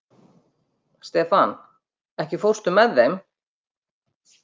Stefan, ekki fórstu með þeim?